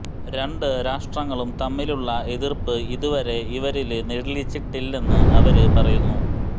രണ്ട് രാഷ്ട്രങ്ങളും തമ്മിലുളള എതിര്പ്പ് ഇതുവരെ ഇവരില് നിഴലിച്ചിട്ടില്ലെന്ന് അവര് പറയുന്നു